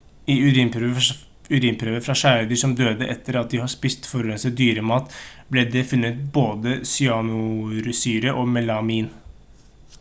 i urinprøver fra kjæledyr som døde etter at de har spist forurenset dyremat ble det funnet både cyanursyre og melamin